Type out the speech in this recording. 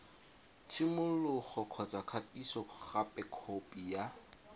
tshimologo kgotsa kgatisogape khopi ya